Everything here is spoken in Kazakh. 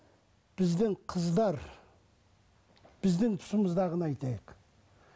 біздің қыздар біздің тұсымыздағыны айтайық